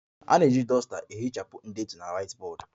A na-eji duster ehichapụ ndetu na whiteboard